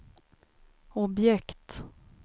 objekt